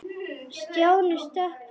Stjáni stökk fram.